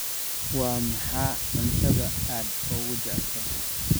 Waa maxay cuntada aad ugu jeceshahay?